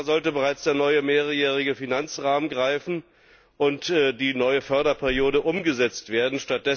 Seit einem Jahr sollte bereits der neue mehrjährige Finanzrahmen greifen und die neue Förderperiode umgesetzt werden.